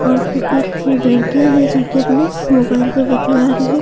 और को एक लड़के हैं जो कि अपने मोबाइल पर बतिया रहे हैं।